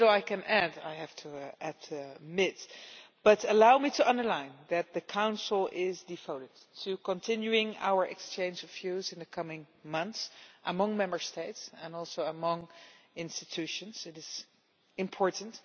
There is little I can add, but allow me to underline that the Council is devoted to continuing our exchange of views in the coming months, among Member States and also among institutions. It is important.